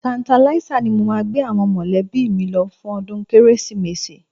Tertanlizer ni mo máa gbé àwọn mọ̀lẹ́bí mi lọ fún ọdún Kérésìmesì